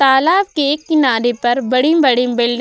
तालाब के एक किनारे पर बड़ी-बड़ी बिल्डिंग --